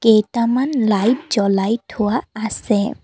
কেইটামান লাইট জ্বলাই থোৱা আছে।